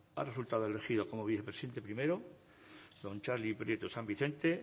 ha resultado elegido como vicepresidente primero don txarli prieto san vicente